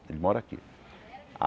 Ele mora aqui.